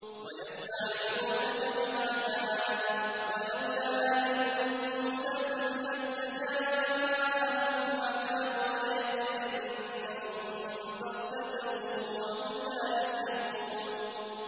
وَيَسْتَعْجِلُونَكَ بِالْعَذَابِ ۚ وَلَوْلَا أَجَلٌ مُّسَمًّى لَّجَاءَهُمُ الْعَذَابُ وَلَيَأْتِيَنَّهُم بَغْتَةً وَهُمْ لَا يَشْعُرُونَ